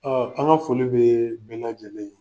Ɔɔ an ka foli bi bɛɛ lajɛlen ye.